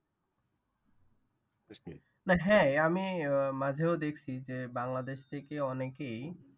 হ্যাঁ আমি মাঝেও দেখছি যে বাংলাদেশ থেকে অনেকেই